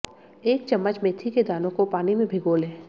एक चम्मच मेथी के दानों को पानी में भिगो लें